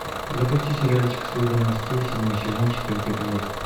запусти сериальчик служба новостей седьмой сезон четвертый эпизод